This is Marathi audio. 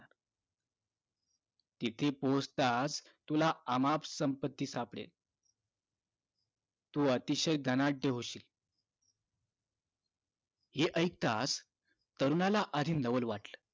इथे पोहोचताच तुला अमाप संपत्ती सापडेल तू अतिशय धनाढ्य होशील हे ऐकताच तरुणाला आणि नवल वाटल